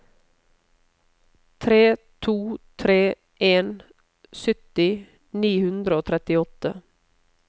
tre to tre en sytti ni hundre og trettiåtte